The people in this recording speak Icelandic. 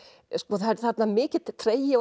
það er þarna mikill tregi og